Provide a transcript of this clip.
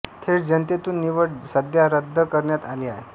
थेट जनतेतुन निवड सध्या रद्द करण्यात आली आहे